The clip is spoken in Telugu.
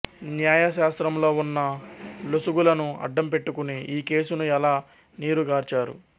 న్యాయశాస్త్రంలో ఉన్న లొసుగులను అడ్డం పెట్టుకుని ఈ కేసును ఎలా నీరుగార్చారు